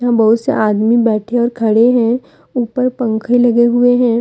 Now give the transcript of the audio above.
बहुत से आदमी बैठे और खड़े हैं ऊपर पंख लगे हुए हैं।